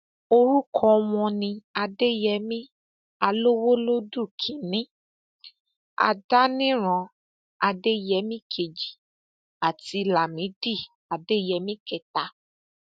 orúkọ wọn ni adéyẹmi alowolódù kínínní adániran adéyẹmi kejì àti lámìdí adéyẹmi kẹta